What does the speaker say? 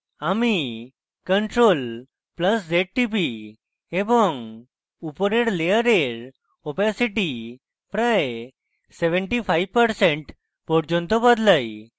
আমি ctrl + z টিপি এবং উপরের layer opacity প্রায় 75% পর্যন্ত বদলাই